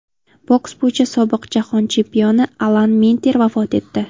Boks bo‘yicha sobiq Jahon chempioni Alan Minter vafot etdi.